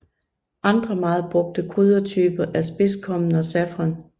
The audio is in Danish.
Andre meget brugte kryddertyper er spidskommen og safran